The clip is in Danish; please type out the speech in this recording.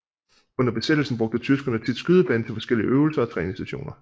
Under Besættelsen brugte Tyskerne tit skydebanen til forskellige øvelser og træningssessioner